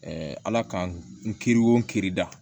ala ka n kiri wo kiiri da